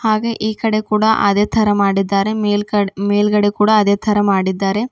ಹಾಗೆ ಈ ಕಡೆ ಕೂಡ ಅದೇ ತರ ಮಾಡಿದ್ದಾರೆ ಮೇಲ್ಗಡೆ ಮೇಲ್ಗಡೆ ಕೂಡ ಅದೇ ತರ ಮಾಡಿದ್ದಾರೆ.